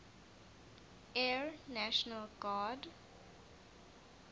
air national guard